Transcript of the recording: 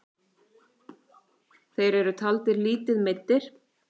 Þeir eru taldir lítið meiddir.